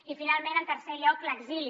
i finalment en tercer lloc l’exili